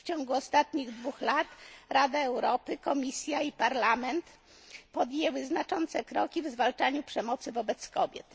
W ciągu ostatnich dwóch lat Rada Europy, Komisja i Parlament podjęły znaczące kroki w zwalczaniu przemocy wobec kobiet.